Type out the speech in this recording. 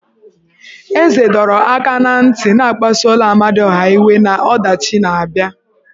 Eze dọrọ aka na ntị na akpasuola Amadiọha iwe na ọdachi na-abịa.